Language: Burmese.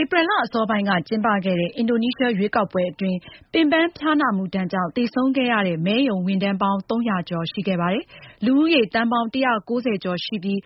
ဧပြီလ အစောပိုင်းက ကျင်းပခဲ့တဲ့ အင်ဒိုနီးရှား ရွေးကောက်ပွဲအတွင်း ပင်ပန်းဖျားနာမှုဒဏ်ကြောင့် သေဆုံးခဲ့ရတဲ့ မဲရုံ ဝန်ထမ်းပေါင်း ၃၀၀ ကျော်ရှိခဲ့ပါတယ်။ မဲဆန္ဒရှင် သန်းပေါင်း ၁၉၀ ကျော်ရှိပြီး